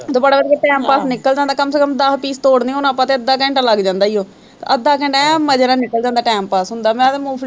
ਤੇ time pass ਨਿਕਲ ਜਾਂਦਾ ਕਮ ਸੇ ਕਮ ਦਸ piece ਤੋੜਨੇ ਹੋਣ ਆਪਾਂ ਤੇ ਅੱਧਾ ਘੰਟਾ ਲੱਗ ਜਾਂਦਾ ਹੈ ਉਹ ਅੱਧਾ ਘੰਟਾ ਐਂ ਮਜ਼ੇ ਨਾਲ ਨਿਕਲ ਜਾਂਦਾ time pass ਹੁੰਦਾ ਮੈਂ ਤਾਂ ਮੂੰਫ਼